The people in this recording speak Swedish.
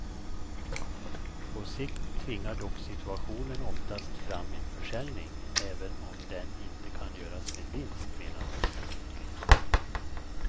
På sikt tvingar dock situationen oftast fram en försäljning, även om den inte kan göras med vinst, menar hon.